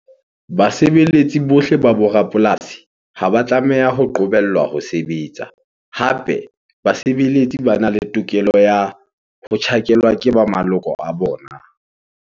Basebeletsi bohle ba bo rapolasi ha ba tlameha ho qobellwa ho sebetsa. Hape basebeletsi bana le tokelo ya ho tjhakelwa ke ba maloko a bona.